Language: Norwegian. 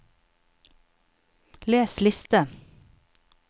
les liste